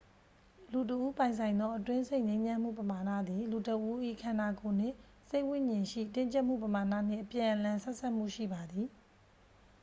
လူတစ်ဦးပိုင်ဆိုင်သော အတွင်းစိတ်ငြိမ်းချမ်းမှုပမာဏသည် လူတစ်ဦး၏ ခန္ဓာကိုယ်နှင့် စိတ်ဝိဉာဉ်ရှိ တင်းကြပ်မှုပမာဏနှင့် အပြန်အလှန်ဆက်စပ်မှုရှိပါသည်